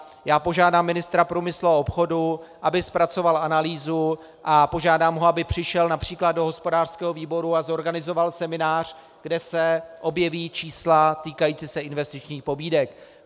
Já požádám ministra průmyslu a obchodu, aby zpracoval analýzu, a požádám ho, aby přišel například do hospodářského výboru a zorganizoval seminář, kde se objeví čísla týkající se investičních pobídek.